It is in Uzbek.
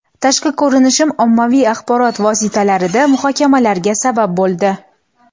Tashqi ko‘rinishim ommaviy axborot vositalarida muhokamalarga ham sabab bo‘ldi.